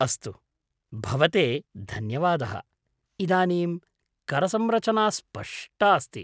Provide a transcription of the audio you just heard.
अस्तु, भवते धन्यवादः, इदानीं करसंरचना स्पष्टा अस्ति।